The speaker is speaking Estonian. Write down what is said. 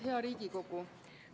Hea Riigikogu!